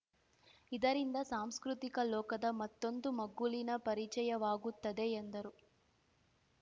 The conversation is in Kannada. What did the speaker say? ಇದರಿಂದ ಸಾಂಸ್ಕೃತಿಕ ಲೋಕದ ಮತ್ತೊಂದು ಮಗ್ಗುಲಿನ ಪರಿಚಯವಾಗುತ್ತದೆ ಎಂದರು